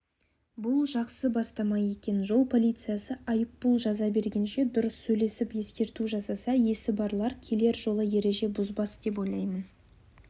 бұл жақсы бастама екен жол полициясы айыппұл жаза бергенше дұрыс сөйлесіп ескерту жасаса есі барлар келер жолы ереже бұзбас деп ойлаймын